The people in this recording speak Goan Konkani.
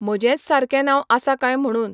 म्हजेंच सारकें नांव आसा काय म्हुणून.